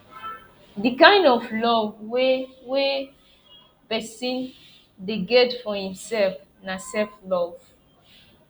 di kind love wey wey person dey get for im self na self love